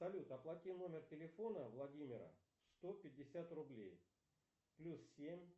салют оплати номер телефона владимира сто пятьдесят рублей плюс семь